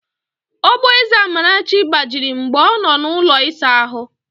Ogboeze Amarachi gbajiri mgbe ọ nọ n'ụlọ ịsa ahụ